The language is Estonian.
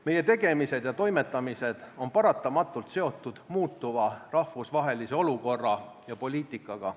Meie tegemised ja toimetamised on paratamatult seotud muutuva rahvusvahelise olukorra ja poliitikaga.